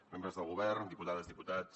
membres del govern diputades diputats